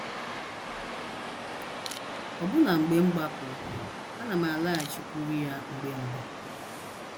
“ Ọbụna mgbe m gbapụrụ, ana m alaghachikwuru ya mgbe mgbe. ”